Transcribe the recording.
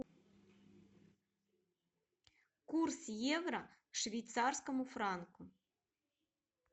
курс евро к швейцарскому франку